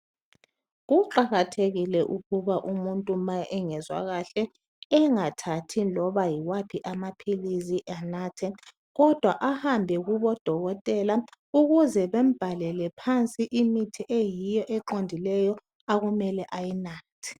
Kuqakathekile ukuba umuntu ma engezwakahle engathathi loba yiwaphi amaphilisi anathe, kodwa ahambe kubodokotela ukuze bambhalele phansi imithi eyiyo eqondileyo okumele ayinathe.